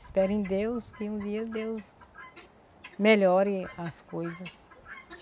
Espero em Deus, que um dia Deus melhore as coisas.